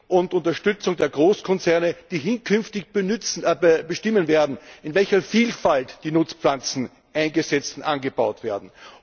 und Unterstützung der Großkonzerne, die hinkünftig bestimmen werden, in welcher Vielfalt die Nutzpflanzen eingesetzt und angebaut werden.